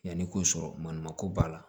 Yanni k'o sɔrɔ ma ko b'a la